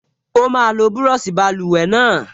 Ó máa lo búrọ̀ṣì báluwẹ̀ náà